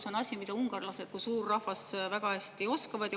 See on asi, mida ungarlased kui suur rahvas väga hästi oskavad.